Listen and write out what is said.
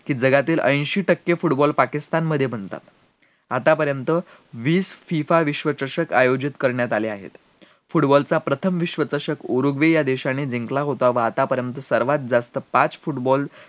कि जगातील अंशी टक्के football पाकिस्तान मध्ये बनतात आता पर्यंत वीस FIFA विश्वचषक आयोजित करण्यात आले आहेत football चा प्रथम विश्वचषक उरुग्वे या देशाने जिंकला होता व आता पर्यंत सर्वात जास्त पाच football